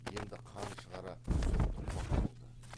енді қан шығара соқтықпақ болды